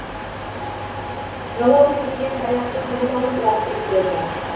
жалау сермеген таяқты жұлып алып лақтырып жіберді